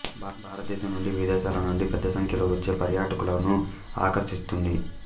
భారతదేశం నుండి విదేశాల నుండి పెద్ద సంఖ్యలో వచ్చే పర్యాటకులను ఆకర్షిస్తుంది